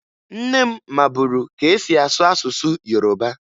Nne m maburu ka e si asụ asụsụ Yoroba